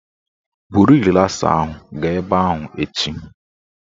Buru rịlasa ahụ gaa ebe ahụ echi